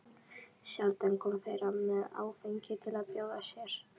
Sjaldan koma þeir með áfengi til að bjóða þér.